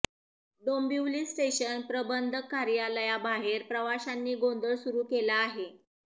Dombivli station प्रबंधक कार्यालयाबाहेर प्रवाशांनी गोंधळ सुरू केला आहे